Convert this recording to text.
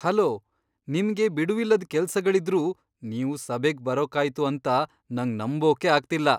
Hello! ನಿಮ್ಗೆ ಬಿಡುವಿಲ್ಲದ್ ಕೆಲ್ಸಗಳಿದ್ರೂ ನೀವು ಸಭೆಗ್ ಬರೋಕಾಯ್ತು ಅಂತ ನಂಗ್ ನಂಬೋಕೇ ಆಗ್ತಿಲ್ಲ.